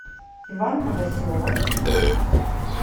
иван новоселов